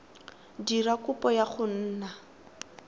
dira kopo ya go nna